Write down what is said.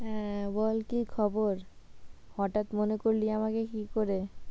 হ্যাঁ বল কী খবর হঠাৎ মনে করলি আমাকে কি করে?